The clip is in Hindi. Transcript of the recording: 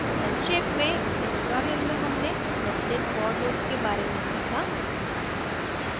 संक्षेप में इस tutorial में हमने nested for loop के बारे में सीखा